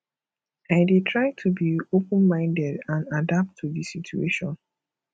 i dey try to be openminded and adapt to di situation